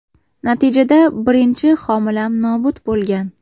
Natijada birinchi homilam nobud bo‘lgan.